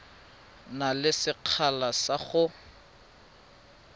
na le sekgala sa go